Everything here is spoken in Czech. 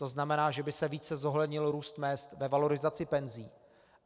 To znamená, že by se více zohlednil růst mezd ve valorizaci penzí.